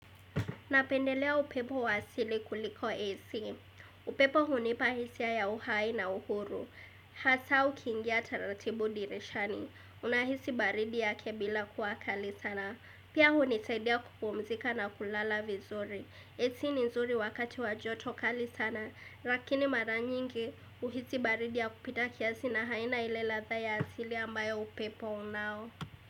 Napendelea upepo wa asili kuliko AC. Upepo hunipa hisia ya uhai na uhuru. Hasa ukiingia taratibu dirishani. Unahisi baridi yake bila kuwa kali sana. Pia hunisaidia kupumzika na kulala vizuri. AC ni nzuri wakati wa joto kali sana. Rakini mara nyingi uhisi baridi ya kupita kiasi na haina ile latha ya asili ambayo upepo unao.